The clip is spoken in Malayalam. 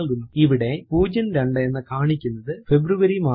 ഇവിടെ 02 എന്ന് കാണിക്കുന്നത് ഫെബ്രുവരി മാസത്തെയാണ്